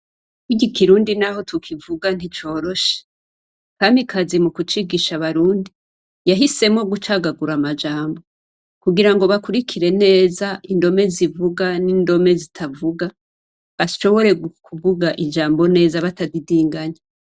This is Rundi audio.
Igikirundi naho tukivuga nticoroshe . Kamikazi mu kucigisha barundi yahisemo gucagagura amajambo kugira ngo bakurikire neza indome zivuga n'indome zitavuga bashobore kuvuga ijambo neza batadidinganya.